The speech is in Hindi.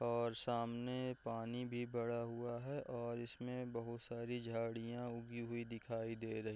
और सामने पानी भी भड़ा हुआ है और इस में बहुत सारी झाड़ियाँ उगी हुई दिखाई दे रह --